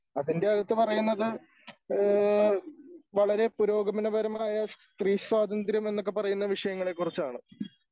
അതിൻ്റെയകത്ത് പറയുന്നത് ഏഹ് വളരെ പുരോഗമനപരമായ സ്ത്രീ സ്വാതന്ത്ര്യം എന്നൊക്കെ പറയുന്ന വിഷയങ്ങളെക്കുറിച്ചാണ്.